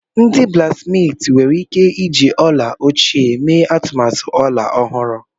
Ndị blaksmiiti nwere ike iji ọla ochie mee atụmatụ ọla ọhụrụ.